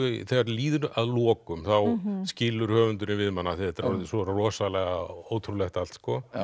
þegar líður að lokum þá skilur höfundurinn við mann af því þetta er orðið svo rosalega ótrúlegt allt